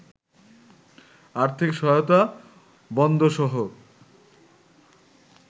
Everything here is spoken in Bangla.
আর্থিক সহায়তা বন্ধসহ